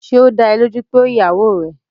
Ṣé ó dá ẹ lójú pé ó ìyàwó rẹ̀?